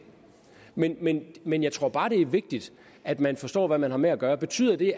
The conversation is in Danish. men men jeg tror bare at det er vigtigt at man forstår hvad man har med at gøre betyder det